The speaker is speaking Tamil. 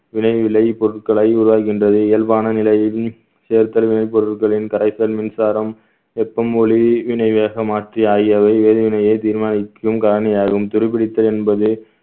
வினைவிலை பொருட்களை உருவாக்குகின்றது இயல்பான நிலையிலும் செயல் தழுவினை பொருட்களின் கரைத்தல் மின்சாரம் வெப்பம் ஒளி இணை வேகமாக்கிய எரிவினையே தீர்மானிக்கும் காரணியாகவும் துருப்பிடித்தல் என்பது